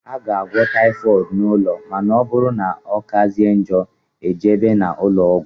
A ga - agwọ typhooid n' ụlọ ma na ọbụrụ na ọkazie njọ ejebe n' ulọọgwu.